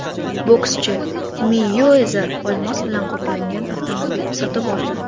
Bokschi Meyuezer olmos bilan qoplangan avtomobil sotib oldi.